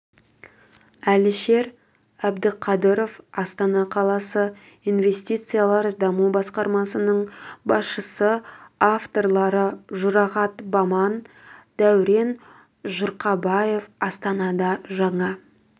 әлішер әбдіқадыров астана қаласы инвестициялар және даму басқармасының басшысы авторлары жұрағат баман дәурен жұрқабаев астанада жаңа